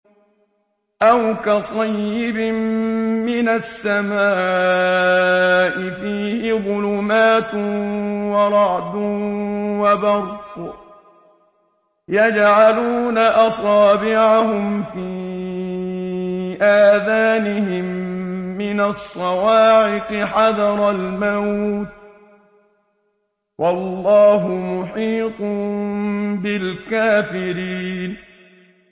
أَوْ كَصَيِّبٍ مِّنَ السَّمَاءِ فِيهِ ظُلُمَاتٌ وَرَعْدٌ وَبَرْقٌ يَجْعَلُونَ أَصَابِعَهُمْ فِي آذَانِهِم مِّنَ الصَّوَاعِقِ حَذَرَ الْمَوْتِ ۚ وَاللَّهُ مُحِيطٌ بِالْكَافِرِينَ